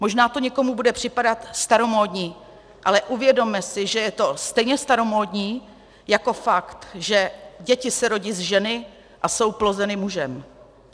Možná to někomu bude připadat staromódní, ale uvědomme si, že je to stejně staromódní jako fakt, že děti se rodí z ženy a jsou plozeny mužem.